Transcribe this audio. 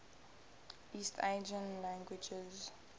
east asian languages